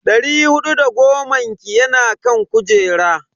Dari hudu da goman ki yana kan kujera.